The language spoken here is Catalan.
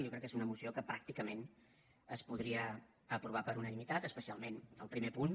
jo crec que és una moció que pràcticament es podria aprovar per unanimitat especialment el primer punt